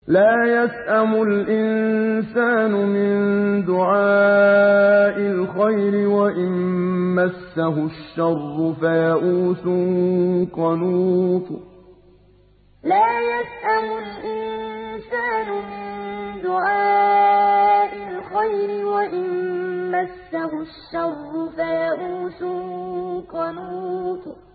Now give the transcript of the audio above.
لَّا يَسْأَمُ الْإِنسَانُ مِن دُعَاءِ الْخَيْرِ وَإِن مَّسَّهُ الشَّرُّ فَيَئُوسٌ قَنُوطٌ لَّا يَسْأَمُ الْإِنسَانُ مِن دُعَاءِ الْخَيْرِ وَإِن مَّسَّهُ الشَّرُّ فَيَئُوسٌ قَنُوطٌ